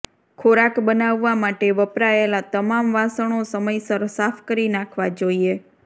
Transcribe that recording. ખોરાક બનાવવા માટે વપરાયેલા તમામ વાસણો સમયસર સાફ કરી નાખવા જોઈએ